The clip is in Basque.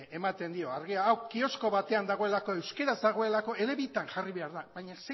ematen dio argi hau kiosko batean dagoelako euskaraz dagoelako ele bitan jarri behar da baina